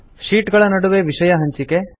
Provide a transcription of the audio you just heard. sheet ಗಳ ನಡುವೆ ವಿಷಯ ಹಂಚಿಕೆ